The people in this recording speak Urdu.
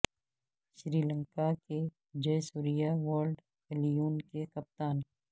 سری لنکا کے جے سوریا ورلڈ الیون کے کپتان